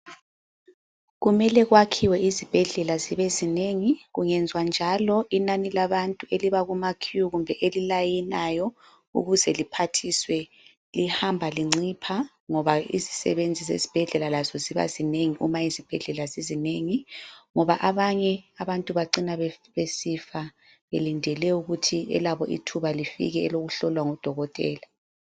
Kumele kwakhiwe izibhedlela zibe zinengi. Kungenziwa njalo inani labantu eliba kuma queue kumbe elilayinayo ukuze liphathiswe lihamba lincipha ngoba izisebenzi zezibhedlela lazo ziba zinengi uma izibhedlela zizinengi, ngoba abanye abantu bacina besifa belindele ukuthi elabo ithuba lifike elokuhlolwa ngudokotela.